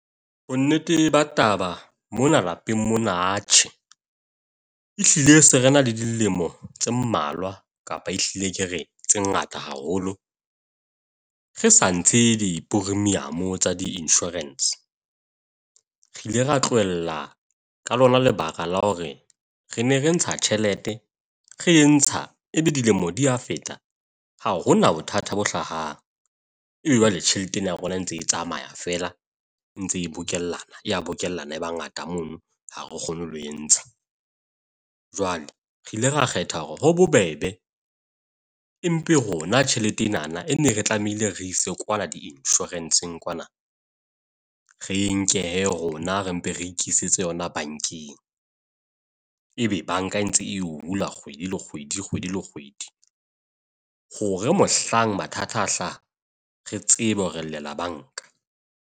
Bonnete ba taba mona lapeng mona atjhe, ehlile se re na le dilemo tse mmalwa kapa ehlile ke re tse ngata haholo re sa ntshe di-premium tsa di-insurance. Re ile ra tlohella ka lona lebaka la hore re ne re ntsha tjhelete, re e ntsha e be dilemo di ya feta, ha hona bothata bo hlahang. Ee, jwale tjheleteng ya rona e ntse e tsamaya feela e ntse e bokellana, e ya bokellane e ba ngata mono. Ha re kgone le ho e ntsha. Jwale re ile ra kgetha hore ho bobebe empe rona tjhelete enana e ne re tlamehile re ise kwala di-insurance-ng kwana re nke rona re mpe re ikisetse yona bankeng. Ebe banka e ntse e hula kgwedi le kgwedi, kgwedi le kgwedi. Hore mohlang mathata a hlaha, re tsebe hore re llela banka.